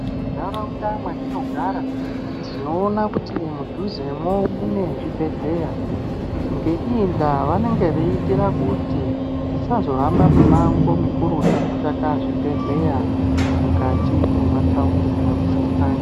Muntaraunda matinogara tinoona kuti mudhuzemo mune zvibhedhlera inge ngeinda vanenge vachiitira kuti tisazohambe mumango mukurutu kutsvaka zvibhedhlera mukati mematawuni kana mundani.